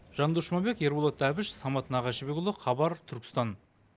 жандос жұмабек ерболат әбіш самат нағашыбекұлы хабар түркістан